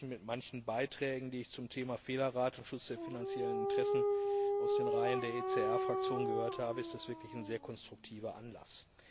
Verglichen mit manchen Beiträgen, die ich zum Thema Fehlerrate und Schutz der finanziellen Interessen aus den Reihen der ECR Fraktion gehört habe, ist das wirklich ein sehr konstruktiver Anlass.